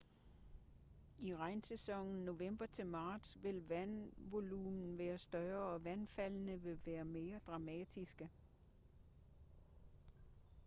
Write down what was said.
i regnsæsonen november til marts vil vandvolumen være større og vandfaldene vil være mere dramatiske